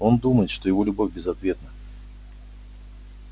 он думает что его любовь безответна